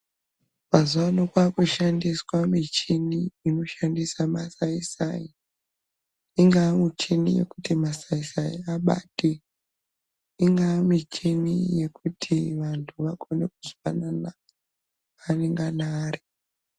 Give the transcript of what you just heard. Mazuwa ano kwaakushandiswa michini inoshandisa masayi-sayi, ingaa michini yekuti masayi-sayi abate, ingaa michini yekuti vanthu vakone kuzwanana kwaanengana ari.